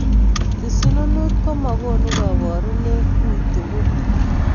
Kisununut komakuno kaparunet uitugul